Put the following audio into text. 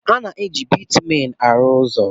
A na-eji Bitumen arụ ụzọ.